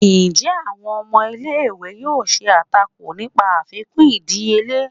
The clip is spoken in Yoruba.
njẹ awón ọmọ ìlé-ìwé yóò ṣe atákò nìpa àfikún ìdíyele?